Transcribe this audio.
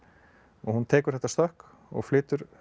hún tekur þetta stökk og flytur